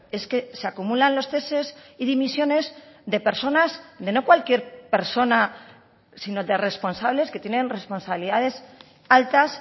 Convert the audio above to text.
es que se acumulan los ceses y dimisiones de personas de no cualquier persona sino de responsables que tienen responsabilidades altas